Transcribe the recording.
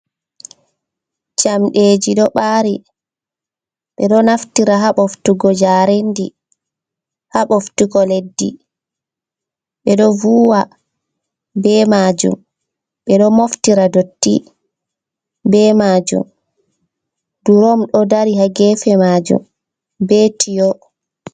Jamɗeji ɗo ɓari ɓeɗo naftira haa ɓoftugo jarendi, haa ɓoftugo leddi, ɓeɗo vuwa be majum, ɓeɗo moftira dotti be majum. Durom ɗo dari haa gefe majum be tiyo.